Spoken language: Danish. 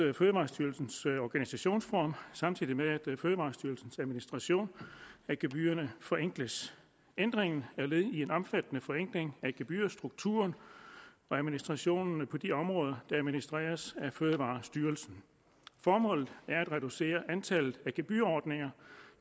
fødevarestyrelsens organisationsform samtidig med at fødevarestyrelsens administration af gebyrerne forenkles ændringen er led i en omfattende forenkling af gebyrstrukturen og administrationen på de områder der administreres af fødevarestyrelsen formålet er at reducere antallet af gebyrordninger